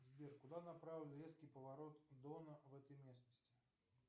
сбер куда направлен резкий поворот дона в этой местности